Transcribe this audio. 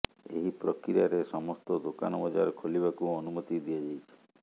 ଏହି ପ୍ରକ୍ରିୟାରେ ସମସ୍ତ ଦୋକାନ ବଜାର ଖୋଲିବାକୁ ଅନୁମତି ଦିଆଯାଇଛି